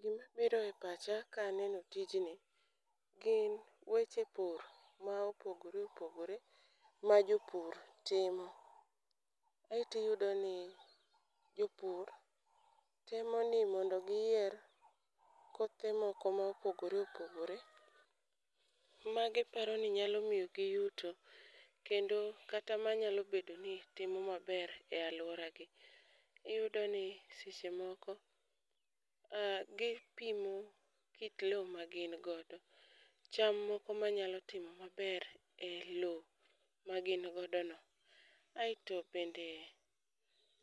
Gima biro e pacha ka aneno tijni gin weche pur ma opogore opogore ma jopur timo. Aeti yudo ni jopur temo ni mondo giyier kothe moko mopogore opogore, ma giparo ni nyalo miyo gi yuto. Kendo kata ma nyalo bedo ni timo maber e alwora gi. Iyudo ni seche moko a gipimo kit lo ma gin godo, cham moko manyalo timo maber e lo magin godo no. Aeto bende